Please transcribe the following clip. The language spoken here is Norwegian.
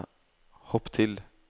hopp til